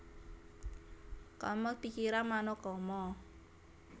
Kamma pikiran mano kamma